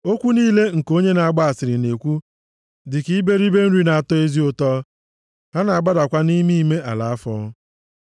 Okwu niile nke onye na-agba asịrị na-ekwu dịka iberibe nri nʼatọ ezi ụtọ, ha na-agbadakwa nʼime ime ala afọ.